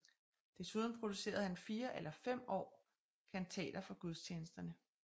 Desuden producerede han fire eller fem år kantater for gudstjenesterne